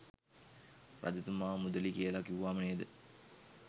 රජතුමා මුදළි කියල කිව්වම නේද?